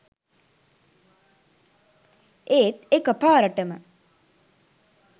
ඒත් එක පාරටම